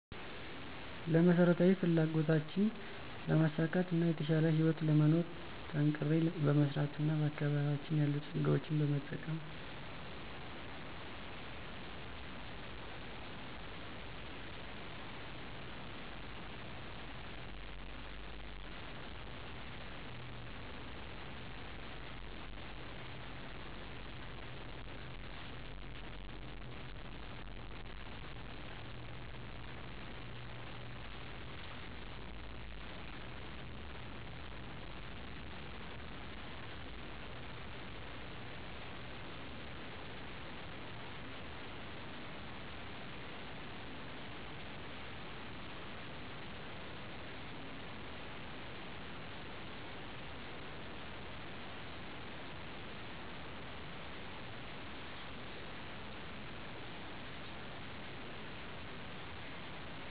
ለመሰረታዊ ፍላጎቶችን ለማሳካት እና የተሻለ ህይወትን ለመኖር። ጠንክሬ በመሰራት እና በአካባቢያችን የሉ ፀጋዎችን በመጠቀም።